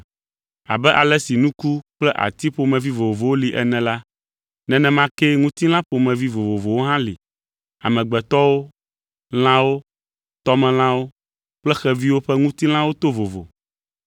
Abe ale si nuku kple ati ƒomevi vovowo li ene la, nenema kee ŋutilã ƒomevi vovovowo hã li. Amegbetɔwo, lãwo, tɔmelãwo kple xeviwo ƒe ŋutilãwo to vovo.